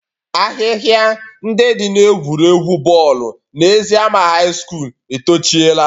Ahịhịa ndị dị n'egwuregwu bọọlụ na eziama high secondary tochiela